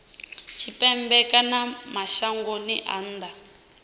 tshipembe kana mashangoni a nnḓa